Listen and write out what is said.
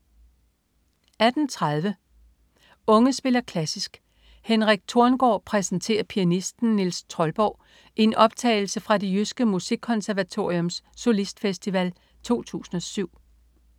18.30 Unge spiller klassisk. Henrik Thorngaard præsenterer pianisten Niels Troldborg i en optagelse fra Det Jyske Musikkonservatoriums Solistfestival 2007